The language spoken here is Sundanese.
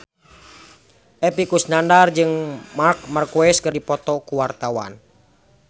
Epy Kusnandar jeung Marc Marquez keur dipoto ku wartawan